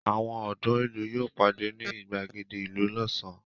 Àwọn ọ̀dọ́ ìlú yóò pàdé ní ìgbàgede ìlú lọ́sàn-án.